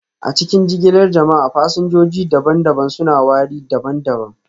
A cikin jigilar jama'a, fasinjoji daban-daban suna wari daban-daban